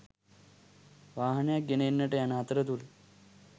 වාහනයක් ගෙන එන්නට යන අතරතුර